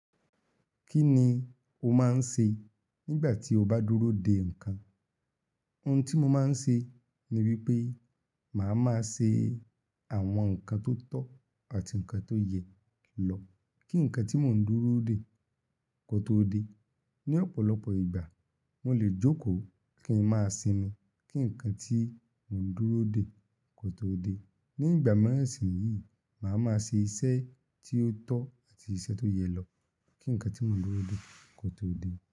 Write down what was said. Kí ni o máa ń ṣe nígbà tí o bá dúró de ǹkan? Ohun tí mo máa ń ṣe ni wípé màá máa ṣe àwọn ǹkan tó tọ́ àti ǹkan tó yẹ lọ kí ǹkan tí mò ń dúró de kó tó dé. Ni ọ̀pọ̀lọpọ̀ ìgbà mo lè jókòó kí ń máa sinmi kí ǹkan tí mò ń dúró de kó tó dé. Ní ìgbà míràn sì yíì, màá máa ṣe iṣẹ́ tí ó tọ́ àti iṣẹ́ tó yẹ lọ kí ǹkan tí mò ń dúró de kó tó dé.